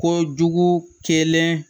Ko jugu kelen